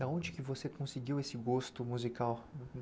Da onde você conseguiu esse gosto musical?